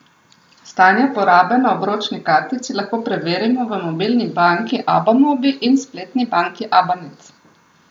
Stanje porabe na obročni kartici lahko preverimo v mobilni banki Abamobi, in spletni banki Abanet.